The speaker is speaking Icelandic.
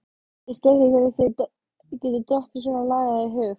Þeta var mín niðurstaða og ég vék ekki frá henni.